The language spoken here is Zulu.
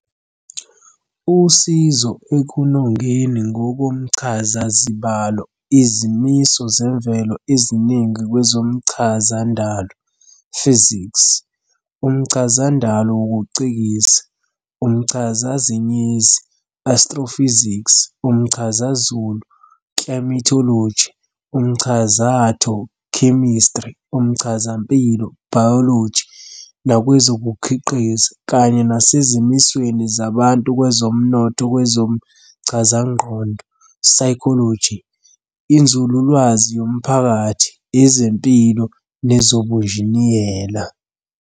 usizo ekunongeni ngokomchazazibalo izimiso zemvelo eziningi kwezomchazandalo "physics", umchazandalo wokucikiza, umchazazinyezi "astrophysics", umchazazulu "climatology", umchazatho "chemistry", umchazampilo "biology" nakwezokukhiqiza, kanye nasezimisweni zabantu kwezomnotho, kwezomchazangqondo "psychology", inzululwazi yomphakathi, ezempilo nezobunjiniyela.